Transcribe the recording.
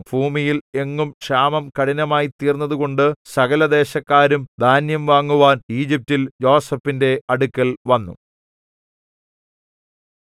ഭൂമിയിൽ എങ്ങും ക്ഷാമം കഠിനമായ്തീർന്നതുകൊണ്ട് സകലദേശക്കാരും ധാന്യം വാങ്ങുവാൻ ഈജിപ്റ്റിൽ യോസേഫിന്റെ അടുക്കൽ വന്നു